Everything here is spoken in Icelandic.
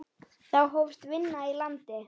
Þá hófst vinna í landi.